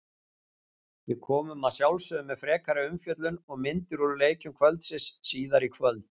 Við komum að sjálfsögðu með frekari umfjöllun og myndir úr leikjum kvöldsins síðar í kvöld.